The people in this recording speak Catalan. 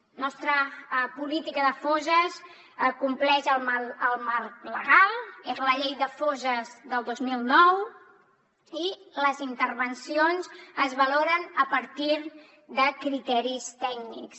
la nostra política de fosses compleix el marc legal és la llei de fosses del dos mil nou i les intervencions es valoren a partir de criteris tècnics